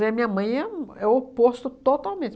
E a minha mãe é um é o oposto totalmente.